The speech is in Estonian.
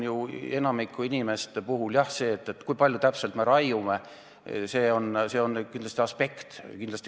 Enamiku inimeste puhul on see, kui palju täpselt me raiume, kindlasti üks aspekt.